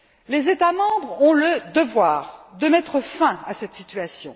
Les États membres ont le devoir de mettre fin à cette situation.